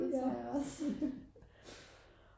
det tror jeg også